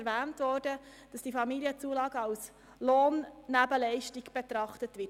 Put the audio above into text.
Es wurde bereits gesagt, dass diese Familienzulagen als Lohnnebenleistung betrachtet werden.